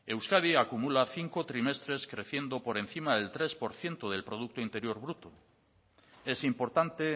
euskadi acumula cinco trimestres creciendo por encima del tres por ciento del producto interior bruto es importante